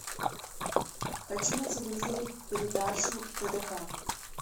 хочу на телевизоре передачу тдк